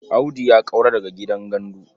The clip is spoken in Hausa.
Audu ya ƙaura daga gidan gandu.